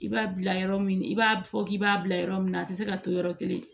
I b'a bila yɔrɔ min i b'a fɔ k'i b'a bila yɔrɔ min na a ti se ka to yɔrɔ kelen